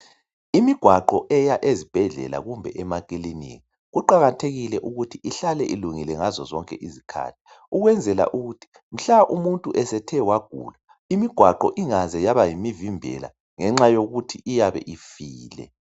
Imigwaqo eya ezibhedlela kumbe emakilinika kuqakathekile ukuthi ihlale ilungile ngazozonke izikhathi ukwenzela ukuthi, mhla umuntu esethe wagula imigwaqo ingaze yaba yimivimbela ngenxa yokuthi iyabe ifile.